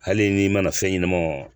Hali n'i mana fɛn ɲɛnama